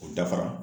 O dafara